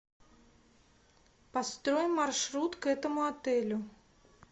построй маршрут к этому отелю